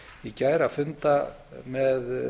í gær að funda með